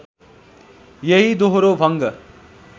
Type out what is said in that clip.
यही दोहोरो भङ्ग